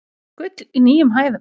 Gull í nýjum hæðum